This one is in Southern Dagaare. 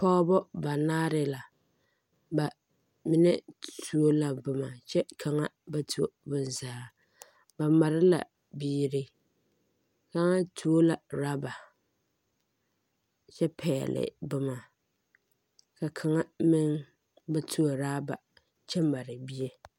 Pɔgeba banaare la bamine tuo la boma kyɛ kaŋa ba tuo bonzaa ba mare la biiri kaŋa tuo la raaba kyɛ pɛle boma ka kaŋa meŋ ba tuo raaba kyɛ mare bie